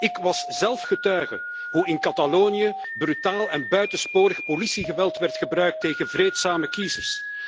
Ik was zelf getuige hoe in Catalonië brutaal en buitensporig politiegeweld werd gebruikt tegen vreedzame kiezers.